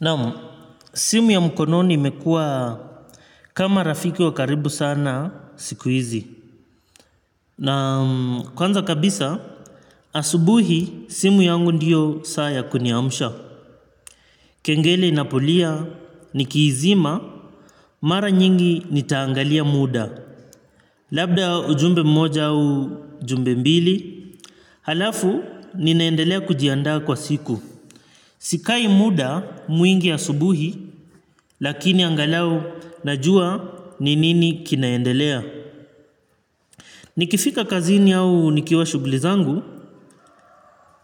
Naam simu ya mkononi imekua kama rafiki wa karibu sana siku hizi. Na kwanza kabisa asubuhi simu yangu ndiyo saa ya kuniamsha. Kengele inapolia nikiizima mara nyingi nitaangalia muda. Labda ujumbe mmoja ujumbe mbili halafu ninaendelea kujiandaa kwa siku sikai muda mwingi asubuhi. Lakini angalau, najua ni nini kinaendelea. Nikifika kazini au nikiwa shughuli zangu,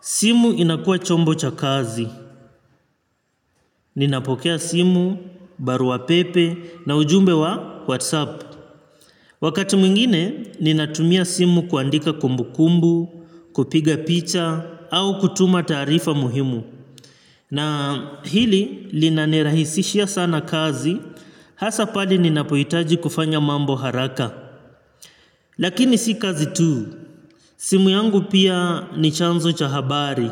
simu inakua chombo cha kazi. Ninapokea simu, barua pepe, na ujumbe wa whatsapp. Wakati mwingine, ninatumia simu kuandika kumbukumbu, kupiga picha, au kutuma taarifa muhimu. Na hili, linanirahisishia sana kazi, hasa pale ninapohitaji kufanya mambo haraka. Lakini si kazi tu, simu yangu pia ni chanzo cha habari.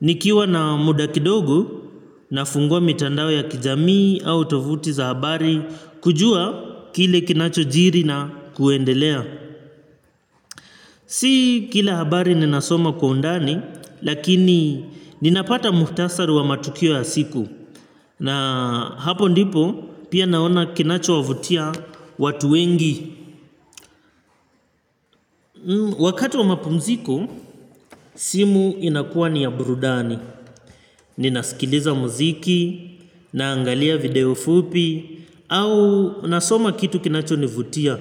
Nikiwa na muda kidogo, nafungua mitandao ya kijamii au tovuti za habari. Kujua kile kinachojiri na kuendelea. Si kila habari ninasoma kwa undani, lakini ninapata muhtasari wa matukio ya siku. Na hapo ndipo pia naona kinachowavutia watu wengi. Wakati wa mapumziko, simu inakuwa ni ya burudani. Ninasikiliza muziki, naangalia video fupi, au nasoma kitu kinachonivutia.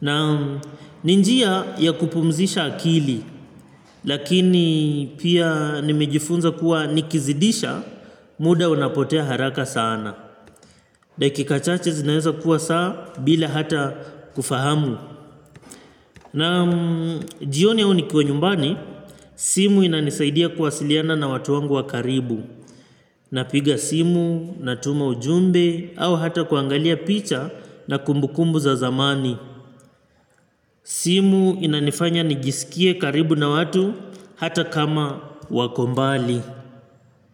Na ni njia ya kupumzisha akili, lakini pia nimejifunza kuwa nikizidisha, muda unapotea haraka sana. Dakika chache zinaeza kuwa sawa bila hata kufahamu. Na jioni au nikiwa nyumbani, simu inanisaidia kuwasiliana na watu wangu wa karibu. Napiga simu, natuma ujumbe, au hata kuangalia picha na kumbukumbu za zamani. Simu inanifanya nijisikie karibu na watu hata kama wako mbali.